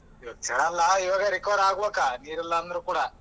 ಇವಾಗ recover ಆಗ್ಬೇಕಾ ನೀರ ಇಲ್ಲಾಂದರೂ ಕೂಡ.